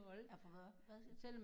At få hvad hvad siger du?